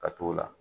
Ka t'o la